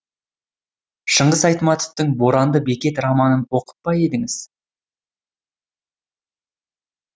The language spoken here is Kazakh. шыңғыс айтматовтың боранды бекет романын оқып па едіңіз